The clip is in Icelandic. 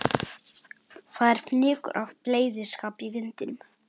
Það er fnykur af bleyðiskap í vindinum.